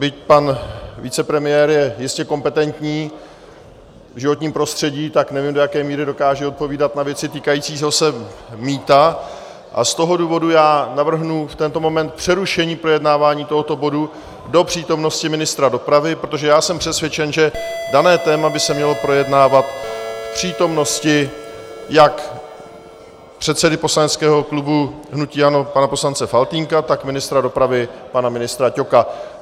Byť pan vicepremiér je jistě kompetentní v životním prostředí, tak nevím, do jaké míry dokáže odpovídat na věci týkající se mýta, a z toho důvodu navrhnu v tento moment přerušení projednávání tohoto bodu do přítomnosti ministra dopravy, protože já jsem přesvědčen, že dané téma by se mělo projednávat v přítomnosti jak předsedy poslaneckého klubu hnutí ANO pana poslance Faltýnka, tak ministra dopravy pana ministra Ťoka.